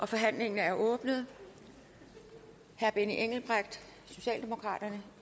forhandlingen er åbnet herre benny engelbrecht socialdemokraterne